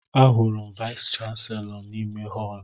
Ahụrụ m Vais kanselọ n'ime họl